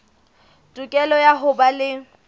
tokelo ya ho ba le